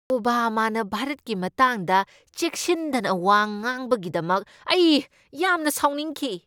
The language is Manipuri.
ꯑꯣꯕꯥꯃꯥꯅ ꯚꯥꯔꯠꯀꯤ ꯃꯇꯥꯡꯗ ꯆꯦꯛꯁꯤꯟꯗꯅ ꯋꯥ ꯉꯥꯡꯕꯒꯤꯗꯃꯛ ꯑꯩ ꯌꯥꯝꯅ ꯁꯥꯎꯅꯤꯡꯈꯤ꯫